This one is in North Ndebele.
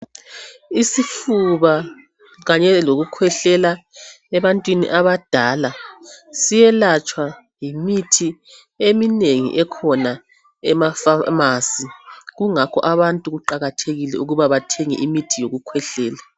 Isifuba kanye lokukhwehlela ebantwini abadala. Siyelatshwa yimithi eminengi ekhona emapharmacy. Kungakho abantu kuqakathekile ukuba bathenge imithi yokukhwehlela,